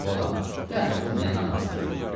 A balam, dəxi bu nə namazdır?